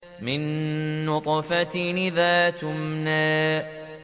مِن نُّطْفَةٍ إِذَا تُمْنَىٰ